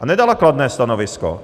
A nedala kladné stanovisko!